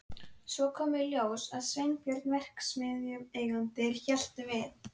Og svo kemur í ljós að Sveinbjörn verksmiðjueigandi hélt við